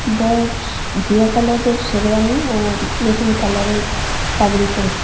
বর ঘিয়া কালারের শেরওয়ানি ও মেরুন কালারের পাগড়ি পরেছে।